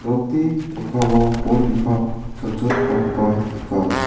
nokni mikkango bol bipang chonchongipakoba nika.